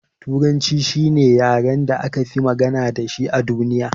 Turanci shine yaren da akafi magana dashi a duniya.